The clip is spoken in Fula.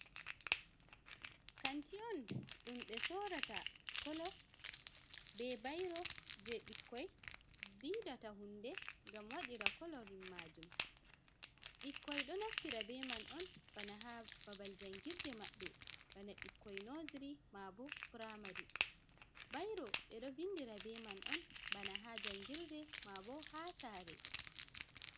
Kanti on ɗum ɓe soorata colour bee bairo jey ɓikkoy diidata huunde ngam waɗira colouring maajum. Ɓikkoy ɗo naftira bee man on bana haa babal jangirde maɓɓe bana ɓikkoy nursery maa boo primary. Bairo ɓe ɗo vinndira bee man on bana haa janngirde maa boo haa saare.